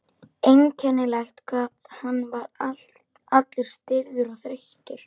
Einkennilegt hvað hann var allur stirður og þreyttur.